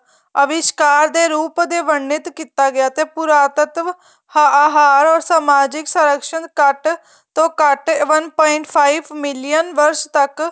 ਅਵਿਸ਼੍ਕਾਰ ਦੇ ਰੂਪ ਦੇ ਵਨਿੱਤ ਕੀਤਾ ਗਿਆ ਤੇ ਪੂਰਾਤੱਤਵ ਹਾਰ ਔਰ ਸਮਾਜਿਕ ਸਰੱਕਸਣ ਕੱਟ ਤੇ ਉਹ ਕੱਟ one point five million ਵਰਸ਼ ਤੱਕ